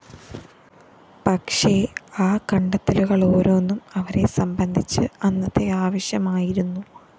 പക്ഷേ ആ കണ്ടെത്തലുകളോരോന്നും അവരെ സംബന്ധിച്ച് അന്നത്തെ ആവശ്യമായിരുന്നു